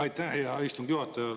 Aitäh, hea istungi juhataja!